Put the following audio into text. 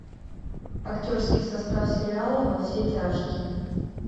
актерский состав сериала во все тяжкие